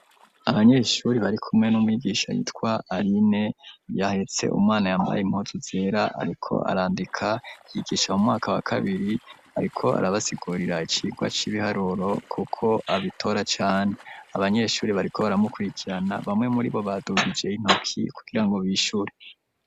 Abanyeshuri bari kumwe n'umwigisha yitwa aline yahetse umwana yambaye impuzu zera, ariko arandika yigisha mu mwaka wa kabiri, ariko arabasikurira icigwa c'ibiharuro kuko abitora cane. Abanyeshuri bariko baramukurikirana bamwe muribo badugije intoki kugira ngo bishure.